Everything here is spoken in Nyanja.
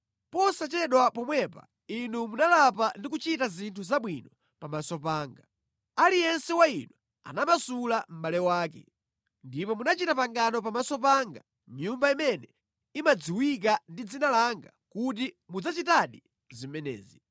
Posachedwa pomwepa inu munalapa ndi kuchita zinthu zabwino pamaso panga: Aliyense wa inu anamasula mʼbale wake. Ndipo munachita pangano pamaso panga mʼNyumba imene imadziwika ndi dzina langa kuti mudzachitadi zimenezi.